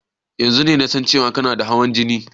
Yanzun kake sanin cewan kana da hawan jini?